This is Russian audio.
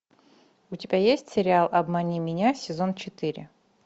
у тебя есть сериал обмани меня сезон четыре